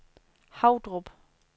Havdrup